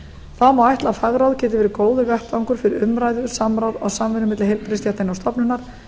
þá má ætla að fagráð geti verið góður vettvangur fyrir umræðu samráð og samvinnu milli heilbrigðisstétta innan stofnunar